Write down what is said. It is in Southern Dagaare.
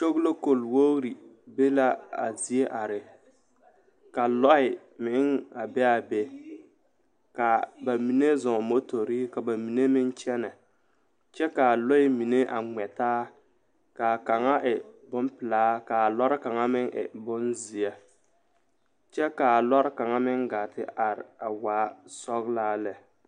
Kyoglokog wogre be la a zie are ka lɔɛ a meŋ be a be ka bamine zɔɔmotori ka bamine meŋ kyɛnɛ kyɛ kaa lɔɛ mine a ŋmɛ taa kaa kaŋa e bonpilaa ka lɔre kaŋa meŋ e bonzeɛ kyɛ kaa lɔre kaŋ meŋ gaa te are waa sɔglaa lɛ.